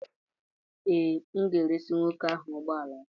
Ee, m ga-eresị nwoke ahụ ụgbọ ala ahụ